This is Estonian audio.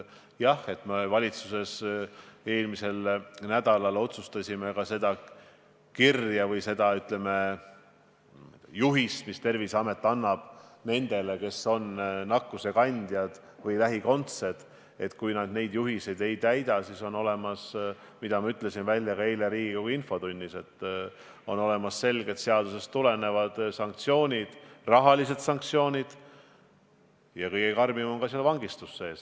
Jah, me valitsuses eelmisel nädalal otsustasime seoses selle kirja või, ütleme, juhisega, mis Terviseamet annab nendele, kes on nakkusekandjad või nende lähikondsed, et kui nad neid juhiseid ei täida, siis on olemas – ma ütlesin seda ka eile Riigikogu infotunnis – selged seadusest tulenevad sanktsioonid, rahalised sanktsioonid ja kõige karmima variandina ka vangistus.